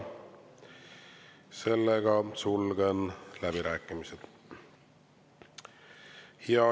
Sellega sulgen läbirääkimised.